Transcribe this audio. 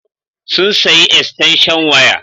Sun sayi estanshan waya.